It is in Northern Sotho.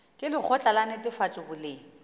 ke lekgotla la netefatšo boleng